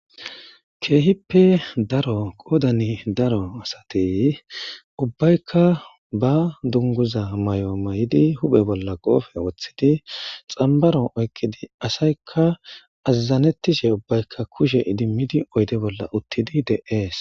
Keehippe daro qoodani daro asatey ubbaykka ba dunguza may,o may,idi huphe bolla qoofe woththidi xambaro oykqidi asaykka azazanettishe ubbaykka kushe idimmidi oyde bolla uttidi de,ees.